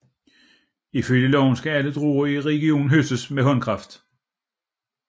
Ifølge loven skal alle druer i regionen høstes med håndkraft